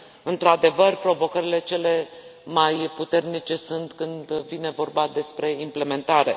Într adevăr, provocările cele mai puternice sunt când vine vorba despre implementare.